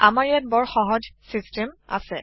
আমাৰ ইয়াত বৰ সহজ চিচটেম আছে